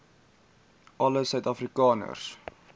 alle suid afrikaners